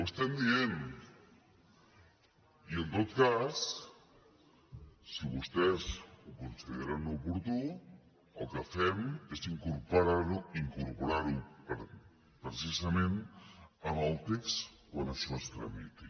estem dient i en tot cas si vostès ho consideren oportú el que fem és incorporar ho precisament al text quan això es tramiti